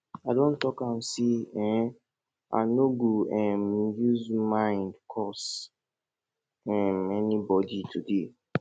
i don talk am sey um i no go um use mind curse um anybodi today